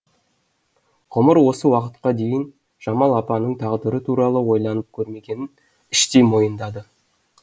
ғұмыр осы уақытқа дейін жамал апаның тағдыры туралы ойланып көрмегенін іштей мойындады